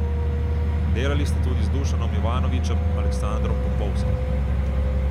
Delali ste tudi z Dušanom Jovanovićem, Aleksandrom Popovskim ...